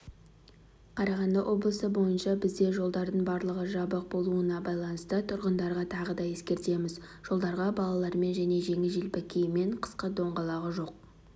қарағанды облысы бойынша бізде жолдардың барлығы жабық болуына байланысты тұрғындарға тағы да ескертеміз жолдарға балалармен және жеңіл-желпі киіммен қысқы доңғалағы жоқ